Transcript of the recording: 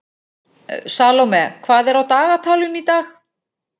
Salome, hvað er á dagatalinu í dag?